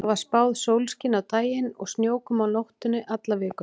Það var spáð sólskini á daginn og snjókomu á nóttunni alla vikuna.